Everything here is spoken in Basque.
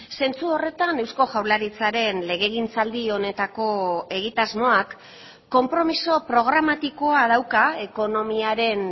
zentzu horretan eusko jaurlaritzaren legegintzaldi honetako egitasmoak konpromiso programatikoa dauka ekonomiaren